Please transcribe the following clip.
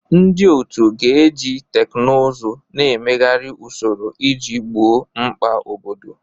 Ndị otu ga-eji teknụzụ na-emegharị usoro iji gboo mkpa obodo.